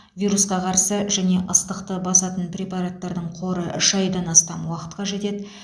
вирусқа қарсы және ыстықты басатын препараттардың қоры үш айдан астам уақытқа жетеді